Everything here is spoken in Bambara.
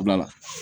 Wula